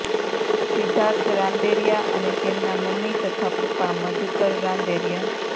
સિદ્ધાર્થ રાંદેરિયા અને તેમનાં મમ્મી તથા પપ્પા મધુકર રાંદેરિયા